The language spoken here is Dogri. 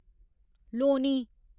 लोनी